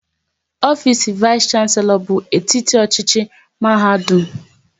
Ofisi vais shanselo bụ etiti ọchịchị n'mahadum